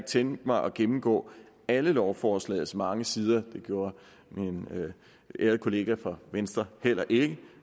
tænkt mig at gennemgå alle lovforslagets mange sider det gjorde min ærede kollega fra venstre heller ikke